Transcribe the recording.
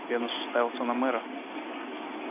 венус уставился на мэра